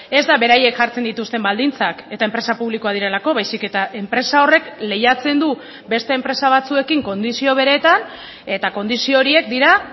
ez da beraiek jartzen dituzten baldintzak eta enpresa publikoak direlako baizik eta enpresa horrek lehiatzen du beste enpresa batzuekin kondizio beretan eta kondizio horiek dira